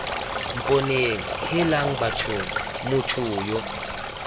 mponeng heelang bathong motho yo